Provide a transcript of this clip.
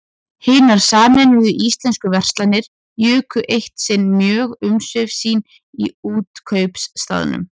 Hinar sameinuðu íslensku verslanir juku eitt sinn mjög umsvif sín í Útkaupstaðnum.